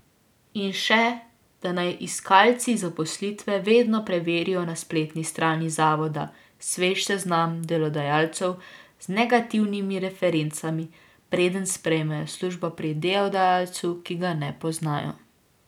In še, da naj iskalci zaposlitve vedno preverijo na spletni strani zavoda svež seznam delodajalcev z negativnimi referencami, preden sprejmejo službo pri delodajalcu, ki ga ne poznajo.